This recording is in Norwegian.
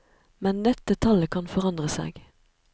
Men dette tallet kan forandre seg.